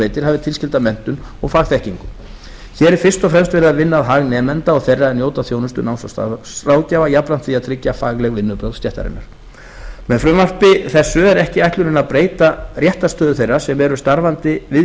veitir hafi tilskilda menntun og fagþekkingu hér er fyrst og fremst verið að vinna að hag nemenda og þeirra er njóta þjónustu náms og starfsráðgjafa jafnframt því að tryggja fagleg vinnubrögð stéttarinnar með frumvarpinu þessu er ekki ætlunin að breyta réttarstöðu þeirra sem eru starfandi við